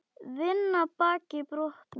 Vinna baki brotnu.